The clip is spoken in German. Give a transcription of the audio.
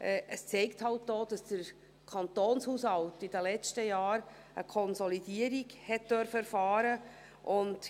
Es zeigt auch, dass der Kantonshaushalt in den letzten Jahren eine Konsolidierung erfahren durfte.